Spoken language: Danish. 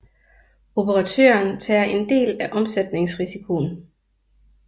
Operatøren tager en del af omsætningsrisikoen